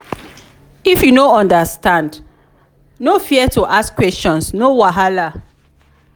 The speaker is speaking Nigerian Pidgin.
if you no understand no fear to ask questions no wahala.